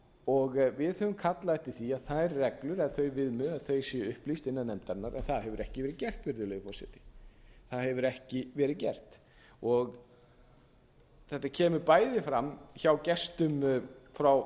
og við höfum kallað eftir því að þær reglur eða þau viðmið séu upplýst innan nefndarinnar en það hefur ekki verið gert virðulegi forseti þetta kemur bæði fram hjá gestum frá